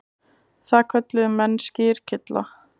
Það kölluðu menn skyrkylla.